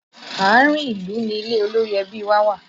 Àárín ìlú ni ilé olórí ẹbí wa wà